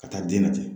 Ka taa den lajɛ